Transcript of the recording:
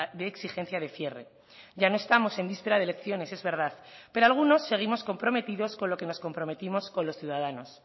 de exigencia de cierre ya no estamos en víspera de elecciones es verdad pero algunos seguimos comprometidos con lo que nos comprometimos con los ciudadanos